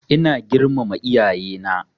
Ina girmama iyaye na